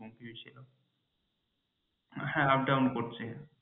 হ্যাঁ up down তো করছেই।